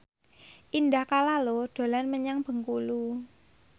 Indah Kalalo dolan menyang Bengkulu